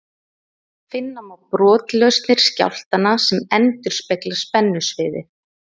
Finna má brotlausnir skjálftanna sem endurspegla spennusviðið.